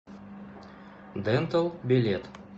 дентал билет